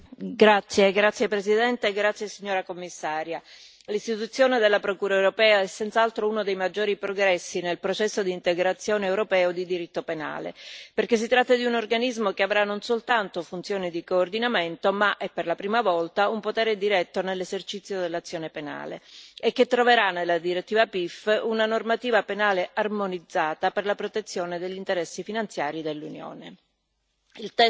Signora presidente, onorevoli colleghi, signora Commissaria, l'istituzione della Procura europea è senz'altro uno dei maggiori progressi nel processo di integrazione europeo di diritto penale, perché si tratta di un organismo che avrà non soltanto funzioni di coordinamento ma è, per la prima volta, un potere diretto nell'esercizio dell'azione penale e che troverà nella direttiva PIF una normativa penale armonizzata per la protezione degli interessi finanziari dell'Unione.